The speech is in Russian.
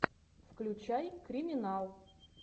включай криминал